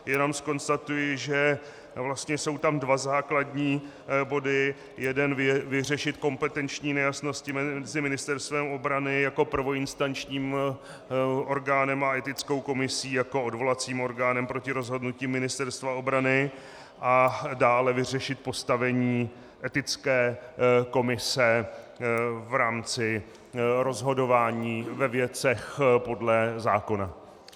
Jenom zkonstatuji, že vlastně jsou tam dva základní body - jeden vyřešit kompetenční nejasnosti mezi Ministerstvem obrany jako prvoinstančním orgánem a etickou komisí jako odvolacím orgánem proti rozhodnutí Ministerstva obrany a dále vyřešit postavení etické komise v rámci rozhodování ve věcech podle zákona.